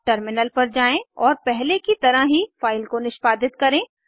अब टर्मिनल पर जाएँ और पहले की तरह ही फाइल को निष्पादित करें